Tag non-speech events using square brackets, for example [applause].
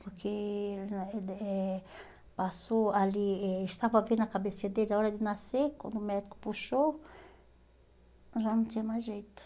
Porque [unintelligible] eh passou ali, eh estava bem na cabeçinha dele, a hora de nascer, quando o médico puxou, já não tinha mais jeito.